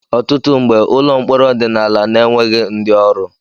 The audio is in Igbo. Ọtụtụ mgbe, ụlọ mkpọrọ ọdịnala na-enweghị ndị ọrụ